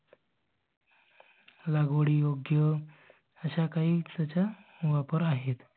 लागवडी योग्य अश्या काहीच्या वापर आहेत.